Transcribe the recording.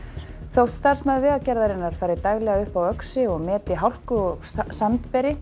þótt starfsmaður Vegagerðarinnar fari daglega upp á Öxi og meti hálku og